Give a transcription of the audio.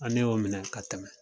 An m'o minɛ ka tɛmɛ